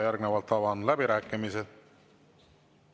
Järgnevalt avan läbirääkimised.